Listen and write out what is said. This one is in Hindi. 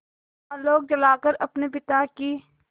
आलोक जलाकर अपने पिता की